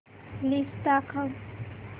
list दाखव